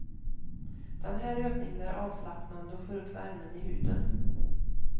Den här övningen är avslappnande och får upp värmen i huden.